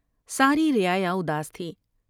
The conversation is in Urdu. ساری رعایا اداس تھی ۔